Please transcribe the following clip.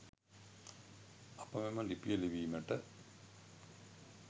අප මෙම ලිපිය ලිවීමට